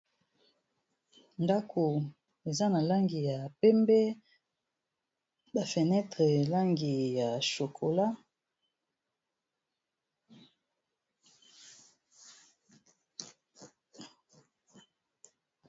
Ndako eza na langi ya pembe ba fenetre langi ya chokola.